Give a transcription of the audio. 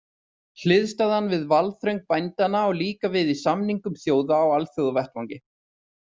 Hliðstæðan við valþröng bændanna á líka við í samningum þjóða á alþjóðavettvangi.